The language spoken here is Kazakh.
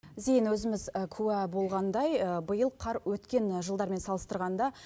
зейін өзіміз куә болғандай биыл қар өткен жылдармен салыстырғанда